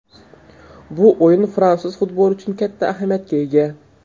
Bu o‘yin fransuz futboli uchun katta ahamiyatga ega.